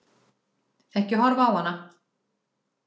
Ekki horfa á hana!